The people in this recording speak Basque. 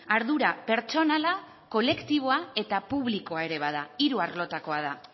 ardura pertsonala kolektiboa eta publikoa ere bada hiru arlotekoa da